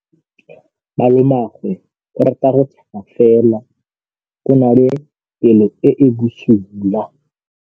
Malomagwe o rata go tshega fela o na le pelo e e bosula.